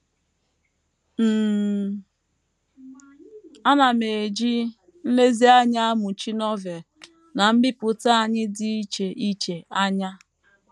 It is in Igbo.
“ um Ana m eji nlezianya amụchi Novel na mbipụta anyị dị iche iche anya.